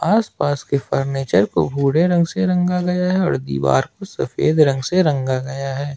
आसपास के फर्नीचर को भूरे रंग से रंगा गया है और दीवार को सफेद रंग से रंगा गया है।